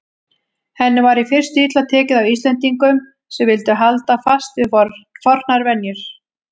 Henni var í fyrstu illa tekið af Íslendingum sem vildu halda fast við fornar venjur.